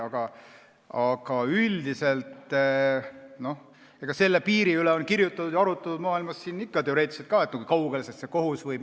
Aga üldiselt, selle piiri üle, kui kaugele kohus võib minna, on maailmas ikka kirjutatud ja arutletud, ka teoreetiliselt.